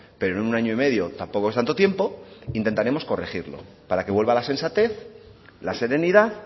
pero en un año y medio tampoco es tanto tiempo intentaremos corregirlo para que vuelva la sensatez la serenidad